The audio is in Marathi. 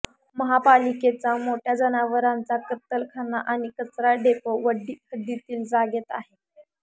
महापालिकेचा मोठ्या जनावरांचा कत्तलखाना आणि कचरा डेपो वड्डी हद्दीतील जागेत आहे